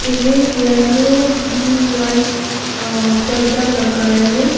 Red yellow blue white अ पर्दा लगाया है।